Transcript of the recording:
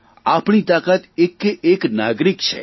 આપણી તાકાત એકે એક નાગરિક છે